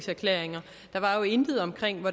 regeringen